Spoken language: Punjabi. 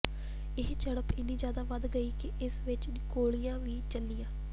ਇਹ ਝੜਪ ਇਨੀ ਜ਼ਿਆਦਾ ਵੱਧ ਗਈ ਕਿ ਇਸ ਵਿੱਚ ਗੋਲੀਆਂ ਵੀ ਚਲੀਆਂ